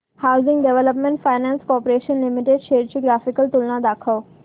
housing Development Finance Corporation Limited shares ची graphical तुलना दाखव